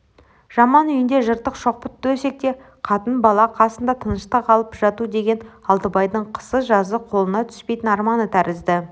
жаман үйінде жыртық шоқпыт төсекте қатын-бала қасында тыныштық алып жату деген алтыбайдың қысы-жазы қолына түспейтін арманы тәрізді